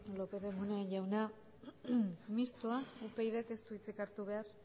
lópez de munain jauna mistoa upydk ez du hitzik hartu behar